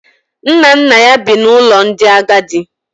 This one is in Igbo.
Nna nna ya bi n’ụlọ ndị agadi